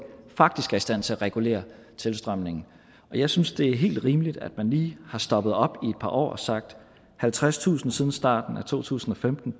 faktisk er i stand til at regulere tilstrømningen jeg synes at det er helt rimeligt at man lige har stoppet op i et par år og sagt at halvtredstusind siden starten af to tusind og femten